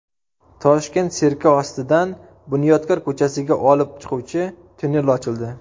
Toshkent sirki ostidan Bunyodkor ko‘chasiga olib chiquvchi tunnel ochildi.